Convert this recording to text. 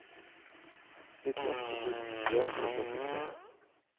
nittiåtte tusen tre hundre og syttitre